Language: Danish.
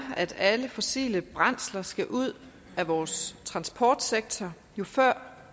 at alle fossile brændsler skal ud af vores transportsektor jo før